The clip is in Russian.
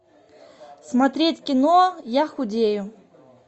смотреть кино я худею